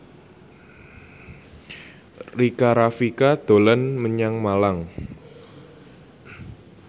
Rika Rafika dolan menyang Malang